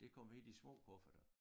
Det kom i de små kufferter